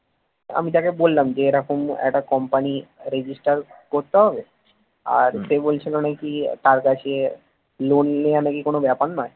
আমি তাকে বললাম যে রকম একটা company register করতে হবে আর সে বলছিল নাকি তার কাছে loan নেওয়া নাকি কোন ব্যাপার নয়